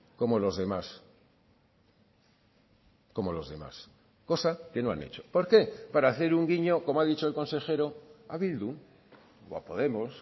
como los demás como los demás cosa que no han hecho por qué para hacer un guiño como ha dicho el consejero a bildu o a podemos